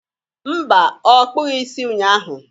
Mba, ọ kpụghi isi ụnyaahụ.